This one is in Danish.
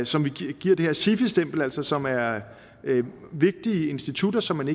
som vi giver det her sifi stempel altså som er vigtige institutter som